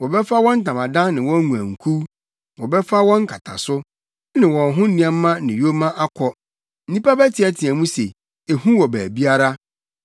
Wɔbɛfa wɔn ntamadan ne wɔn nguankuw; wɔbɛfa wɔn nkataso, ne wɔn ho nneɛma ne yoma akɔ. Nnipa bɛteɛteɛ mu se, ‘Ehu wɔ baabiara!’